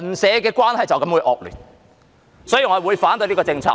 所以，我會反對這項政策。